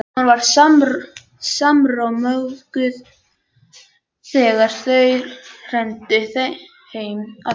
Hún var sármóðguð þegar þau renndu heim að Bakka.